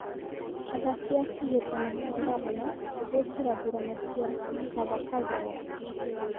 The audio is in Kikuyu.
Athaki a kĩ hĩ tahĩ tano kĩ a ngavana gũĩ kĩ ra burana cĩ a 'Kaba Kabogo'.